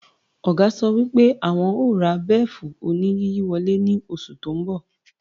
Ọ̀gá sọ wípé àwọn o ra bẹ́fù-oníyíyọ̀wálẹ̀ ní oṣù tí ń bọ̀